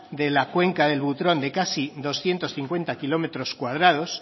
de la cuenca del butrón de casi doscientos cincuenta kilómetros cuadrados